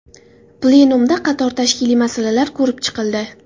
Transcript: Plenumda qator tashkiliy masalalar ko‘rib chiqildi.